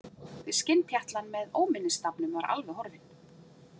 Skinnpjatlan með Óminnisstafnum var alveg horfin.